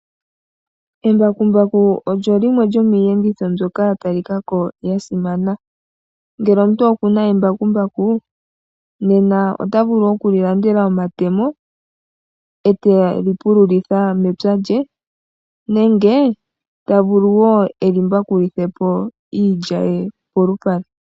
Embakumbaku olyo limwe lyomiiyenditho mbyoka yatalikako yasimana, ngele omuntu okuna embakumbaku otavulu okulandelako omatemo eteli pululitha mepya lye nenge tavulu wo elimbakulithepo iilya ye polupale.